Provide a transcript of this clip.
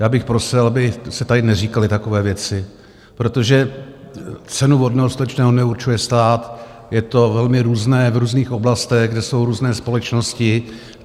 Já bych prosil, aby se tady neříkaly takové věci, protože cenu vodného, stočného neurčuje stát, je to velmi různé v různých oblastech, kde jsou různé společnosti.